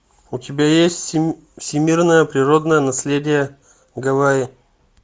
у тебя есть всемирное природное наследие гавайи